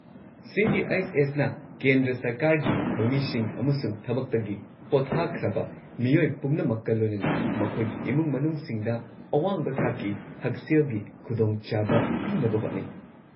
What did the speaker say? ꯁꯤ.ꯖꯤ.ꯑꯩꯆ.ꯑꯦꯁ.ꯅ ꯀꯦꯟꯗ꯭ꯔ ꯁꯔꯀꯥꯔꯒꯤ ꯊꯧꯃꯤꯁꯤꯡ ꯑꯃꯁꯨꯡ ꯊꯕꯛꯇꯒꯤ ꯄꯣꯊꯥꯈ꯭ꯔꯕ ꯃꯤꯑꯣꯏ ꯄꯨꯝꯅꯃꯛꯀ ꯂꯣꯏꯅꯅ ꯃꯈꯣꯏꯒꯤ ꯏꯃꯨꯡ ꯃꯅꯨꯡꯁꯤꯡꯗ ꯑꯋꯥꯡꯕ ꯊꯥꯛꯀꯤ ꯍꯛꯁꯦꯜꯒꯤ ꯈꯨꯗꯣꯡꯆꯥꯕ ꯄꯤꯅꯕ ꯍꯣꯠꯅꯩ꯫